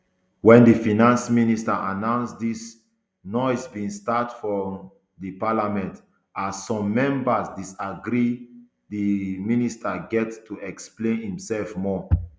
wen di finance minister announce dis noise bin start for um di parliament as some members disagree and di um minister get to explain imsef more